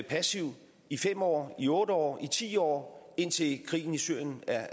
passivt i fem år i otte år i ti år indtil krigen i syrien er